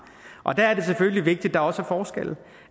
og der er det selvfølgelig vigtigt at der også er forskelle